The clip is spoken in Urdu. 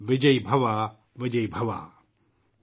تمہاری فتح ہو ! تمہاری فتح ہو !